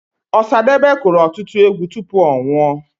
Ọsadebe kụrụ ọtụtụ egwu tupu ọ nwụọ.